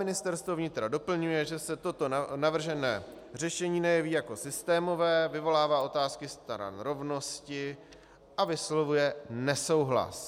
Ministerstvo vnitra doplňuje, že se toto navržené řešení nejeví jako systémové, vyvolává otázky stran rovnosti, a vyslovuje nesouhlas.